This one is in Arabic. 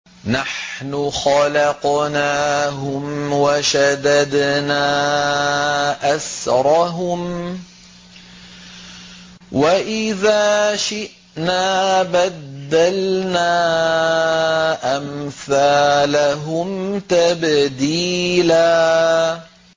نَّحْنُ خَلَقْنَاهُمْ وَشَدَدْنَا أَسْرَهُمْ ۖ وَإِذَا شِئْنَا بَدَّلْنَا أَمْثَالَهُمْ تَبْدِيلًا